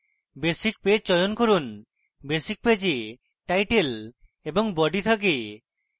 basic page চয়ন করুন basic page এ title এবং body থাকে